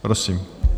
Prosím.